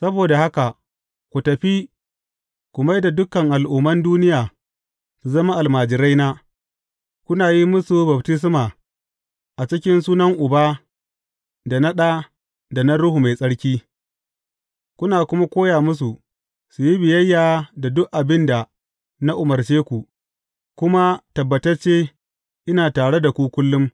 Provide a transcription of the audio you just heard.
Saboda haka ku tafi, ku mai da dukan al’umman duniya su zama almajiraina, kuna yi musu baftisma a cikin sunan Uba, da na Ɗa, da na Ruhu Mai Tsarki, kuna kuma koya musu, su yi biyayya da duk abin da na umarce ku, kuma tabbatacce, ina tare da ku kullum,